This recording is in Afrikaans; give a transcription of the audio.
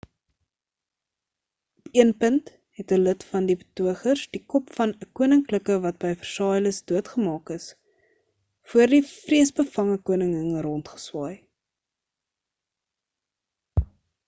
op een punt het 'n lid van die betogers die kop van 'n koninklike wat by versailles doodgemaak is voor die vreesbevange koningin rondgeswaai